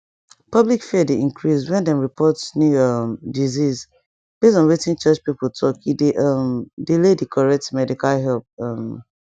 public fear dey increase when dem report new um disease base on wetin church people talke dey um delay the correct medical help um